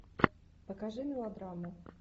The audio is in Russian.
покажи мелодраму